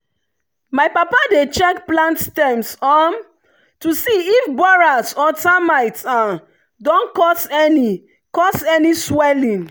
my papa dey check plant stems um to see if borers or termites don cause any cause any swelling.